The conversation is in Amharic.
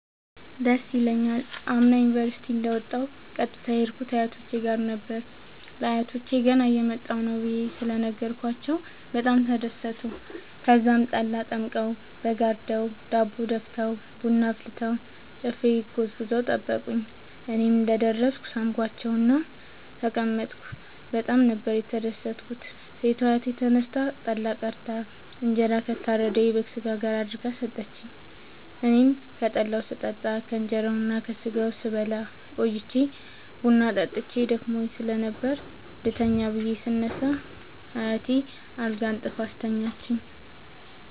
ደስ ይለኛል። አምና ዩኒቨርሢቲ እንደ ወጣሁ ቀጥታ የሄድኩት አያቶቼ ጋር ነበር። ለአያቶቸ ገና እየመጣሁ ነዉ ብየ በጣም ተደሠቱ። ተዛም ጠላ ጠምቀዉ በግ አርደዉ ዳቦ ደፍተዉ ቡና አፍልተዉ ጨፌ ጎዝጉዘዉ ጠበቁኝ። እኔም እንደ ደረስኩ ሣምኳቸዉእና ተቀመጥኩ በጣም ነበር የተደትኩት ሴቷ አያቴ ተነስታ ጠላ ቀድታ እንጀራ ከታረደዉ የበግ ስጋ ጋር አድርጋ ሠጠችኝ። አኔም ከጠላዉም ስጠጣ ከእንራዉና ከስጋዉም ስበላ ቆይቼ ቡና ጠጥቼ ደክሞኝ ስለነበር ልተኛ ብየ ስነሳ አያቴ አልጋ አንጥፋ አስተኛችኝ።